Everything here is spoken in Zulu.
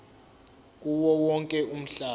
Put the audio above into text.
kuwo wonke umhlaba